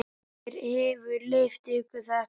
Hver hefur leyft ykkur þetta?